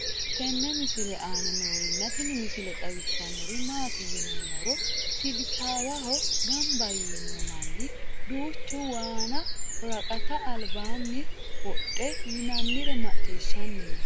tenne misile aana noorina tini misile xawissannori maati yinummoro silisaawaho ganbba yiinno manni duuchchu waanna woraqatta alibbanni wodhdhe yinannire maciishshanni noo